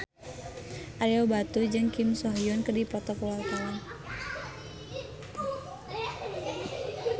Ario Batu jeung Kim So Hyun keur dipoto ku wartawan